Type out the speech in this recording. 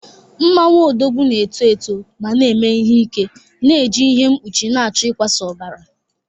Mmanwu Odogwu na-eto eto ma na-eme ihe ike na-eji ihe mkpuchi na-achọ ịkwasa ọbara